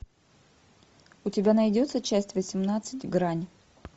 у тебя найдется часть восемнадцать грань